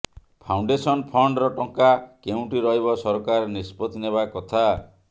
foundation ଫଣ୍ଡର ଟଙ୍କା କେଉଁଠି ରହିବ ସରକାର ନିଷ୍ପତ୍ତି ନେବା କଥା